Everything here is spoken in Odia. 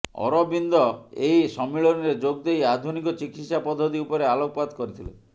ଅରବିନ୍ଦ ଏହି ସମ୍ମିଳନୀରେ ଯୋଗଦେଇ ଆଧୁନିକ ଚିକିତ୍ସା ପଦ୍ଧତି ଉପରେ ଆଲୋକ ପାତ କରିଥିଲେ